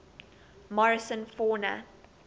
morrison fauna